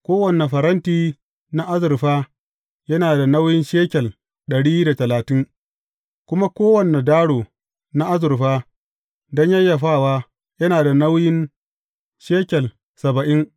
Kowane faranti na azurfa yana da nauyin shekel ɗari da talatin, kuma kowane daro na azurfa don yayyafawa yana da nauyin shekel saba’in.